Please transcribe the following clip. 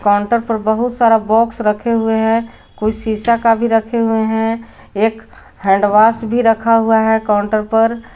Counter पर बहुत सारा बॉक्स रखे हुए हैं कुछ शीशा का भी रखे हुए हैं एक हैंड वॉश भी रखा हुआ है काउंटर पर।